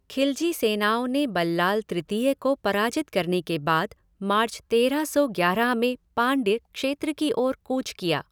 ख़िलजी सेनाओं ने बल्लाल तृतीय को पराजित करने के बाद मार्च तेरह सौ ग्यारह में पाँड्य क्षेत्र की ओर कूच किया।